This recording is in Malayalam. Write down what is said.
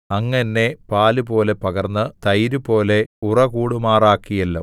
അങ്ങ് എന്നെ പാലുപോലെ പകർന്ന് തൈരുപോലെ ഉറകൂടുമാറാക്കിയല്ലോ